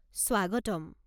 স্বাগতম।